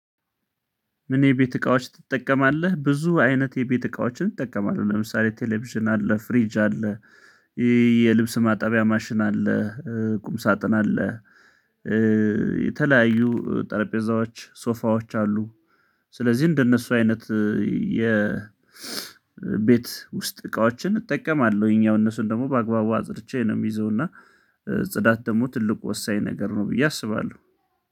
ምን የቤት እቃዎች ትጠቀማለህ? ብዙ አይነት የቤት እቃዎችን እጠቀማለሁ ለምሳሌ ቴሌቪዥን አለ ፍሪጅ አለ የልብስ ማጠቢያ ማሽን አለ ቁም ሳጥን አለ የተለያዩ ጠረጴዛዎች ሶፋዎች አሉ። ስለዚህ እንደነሱ አይነት የ የቤት ውስጥ እቃዎችን እጠቀማለሁኝ ያው እነሱን ደግሞ በአግባቡ አጽድቼ ነው የምይዘውና። ጽዳት ደግሞ ትልቁ ወሳኝ ነገር ነው ብዬ አስባለሁ